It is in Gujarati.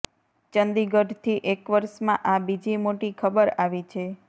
ચંદીગઢથી એક વર્ષમાં આ બીજી મોટી ખબર આવી છે